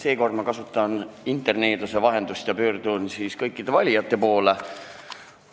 Seekord ma kasutan interneeduse vahendust ja pöördun kõikide valijate poole.